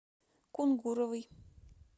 кунгуровой